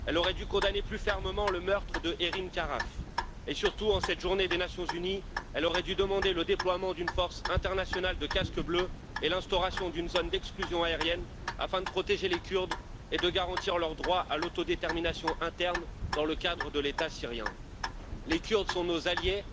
Elle aurait dû condamner plus fermement le meurtre de Havrin Khalaf et, surtout, en cette journée des Nations unies, elle aurait dû demander le déploiement d'une force internationale de Casques bleus et l'instauration d'une zone d'exclusion aérienne afin de protéger les Kurdes et de garantir leur droit à l'autodétermination interne dans le cadre de l'État syrien. Les Kurdes sont nos alliés,